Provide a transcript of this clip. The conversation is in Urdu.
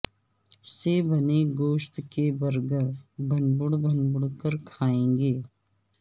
سے بنے گوشت کے برگر بھنبوڑ بھنبوڑ کر کھائیں گے